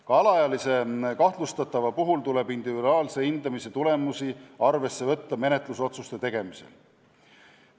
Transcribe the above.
Ka alaealise kahtlustatava puhul tuleb individuaalse hindamise tulemusi menetlusotsuste tegemisel arvesse võtta.